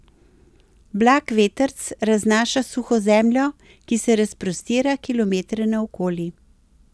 Blag vetrc raznaša suho zemljo, ki se razprostira kilometre naokoli.